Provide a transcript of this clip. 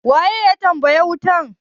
waye ya taba wutar?